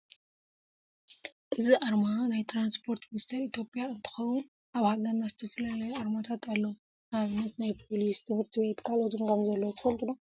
እዚ ኣርማ ናይ ትራንስፖርት ሚኒስቴር ኢትዮጵያ እንትኮውን ኣብ ሃገርና ዝተፈላለዩ ኣርማታት ኣለው። ንኣብነት ናይ ፖሊስ፣ ትምህርቲ ቤት ካልኦትን ከምዘለው ትፈልጡ ዶ?